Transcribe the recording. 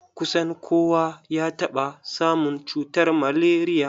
Kusan kowa ya taɓa samun cutar malaria.